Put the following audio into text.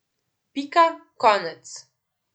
Pika, konec.